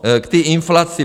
K té inflaci.